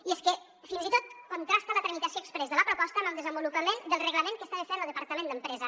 i és que fins i tot contrasta la tramitació exprés de la proposta amb el desenvolupament del reglament que estava fent lo departament d’empresa